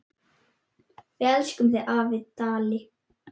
Við elskum þig, afi Dalli.